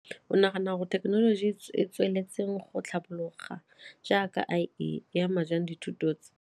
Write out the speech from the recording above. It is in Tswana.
O nagana gore thekenoloji e e tsweletseng go tlhapologa jaaka I_A e ama jang dithuto tse.